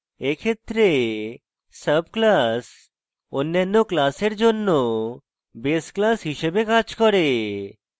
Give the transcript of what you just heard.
এক্ষেত্রে sub class অন্যান্য class জন্য base class হিসাবে কাজ করে